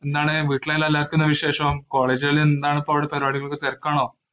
എന്താണ്, വീട്ടിലെല്ലാം എല്ലാർക്കെല്ലാം എന്നാ വിശേഷം? college ഇലിലെന്താണിപ്പോ അവിടെ പരിപാടികളൊക്ക, തെരക്കാണോ?